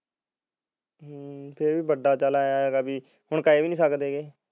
ਹਮ ਚੱਲ ਵੱਡਾ ਐ ਚੱਲ ਹੁਣ ਕਹਿ ਵੀ ਨੀ ਸਕਦੇ